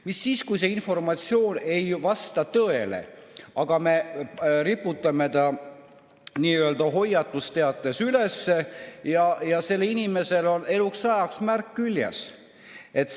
Mis saab siis, kui see informatsioon ei vasta tõele, aga me riputame hoiatusteate üles ja inimesele jääb eluks ajaks märk külge?